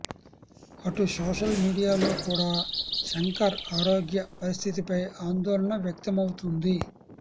అటు సోషల్ మీడియాలో కూడా శంకర్ ఆరోగ్య పరిస్థితిపై ఆందోళన వ్యక్తమవుతుంది